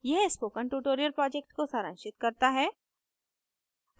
यह spoken tutorial project को सारांशित करता है